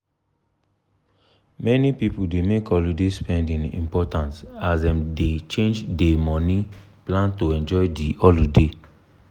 many people dey make holiday spending important as dem dey change dey money plan to enjoy de holiday.